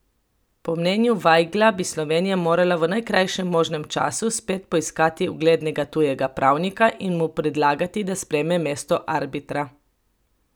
Po mnenju Vajgla bi Slovenija morala v najkrajšem možnem času spet poiskati uglednega tujega pravnika in mu predlagati, da sprejme mesto arbitra.